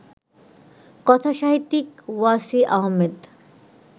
কথাসাহিত্যিক ওয়াসি আহমেদ